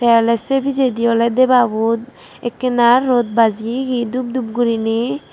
te oley se pijedi oley debabo ekkena rot bajeyegi dub dub guriney.